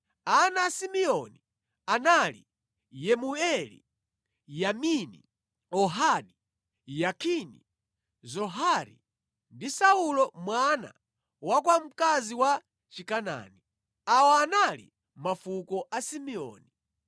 Ana a Simeoni anali Yemueli, Yamini, Ohadi, Yakini, Zohari ndi Saulo mwana wa kwa mkazi wa Chikanaani. Awa anali mafuko a Simeoni.